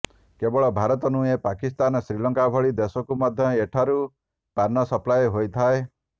କେବଳ ଭାରତ ନୁହଁ ପାକିସ୍ତାନ ଶ୍ରୀଲଙ୍କା ଭଳି ଦେଶକୁ ମଧ୍ୟ ଏଠାରୁ ପାନ ସପ୍ଲାଏ ହୋଇଥାଏ